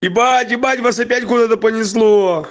ебать ебать вас опять куда-то понесло